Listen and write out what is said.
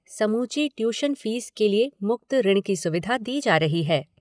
समूची tuition fees के लिए मुक्त ऋण की सुविधा दी जा रही है।